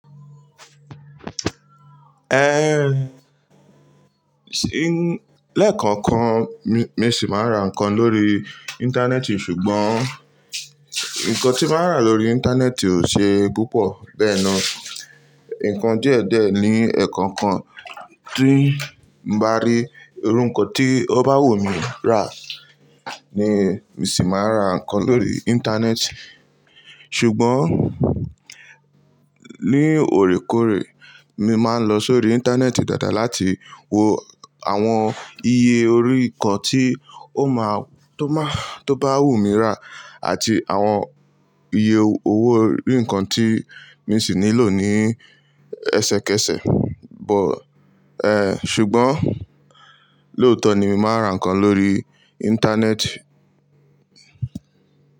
Eh, sí, lẹ́ẹ̀kọ̀ọ̀kan, mi, mi sì máa ra nǹkan lórí ìńtánẹ́ẹ̀tì ṣùgbọ́n nǹkan tí màá rà lórí ìńtánẹ́ẹ̀tì ò ṣe púpọ̀. Bẹ́ẹ̀ni, nǹkan díẹ̀díẹ̀ ni ẹ̀ẹ̀kọ̀ọ̀kan tí n bá rí. Irú nǹkan tí ó bá wù mí rà ni mi sì máa ra nǹkan lórí ìńtánẹ́ẹ̀tì. Ṣùgbọ́n ní òrékòórè mi máa ń lọ sórí ìńtánẹ́ẹ̀tì dáadáa láti wo àwọn iye orí nǹkan tí ó má, tó má, tó bá wù mí rà àti àwọn iye owó orí nǹkan tí mi sì nílò ní ẹsẹkẹsẹ. Bọ̀ ẹ, ṣùgbọ́n lóòtọ ni mi máa ra nǹkan lórí ìńtánẹ́ẹ̀tì.